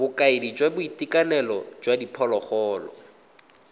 bokaedi jwa boitekanelo jwa diphologolo